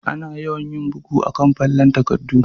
Ana yawan yin bugu a'kan fallen takaddu.